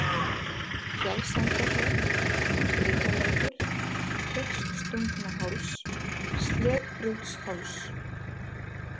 Fjallsendahraun, Brytalækur, Teigstungnaháls, Sleðbrjótsháls